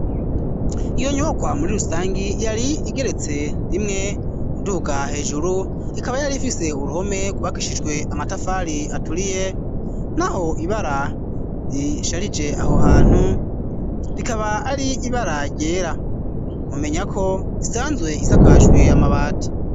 Iyo nyubakwa muri rusangi yari igeretse rimwe uduhuga hejuru ikaba yari ifise uruhome rwubakishijwe amatafari aturiye naho ibara risharije aho hantu rikaba ari ibara ryera mumenya ko isanzwe isakajwe amabati.